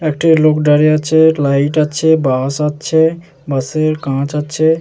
একটি লোক দাঁড়িয়ে আছে। লাইট আছে বাস আছে বাস -এর কাঁচ আছে ।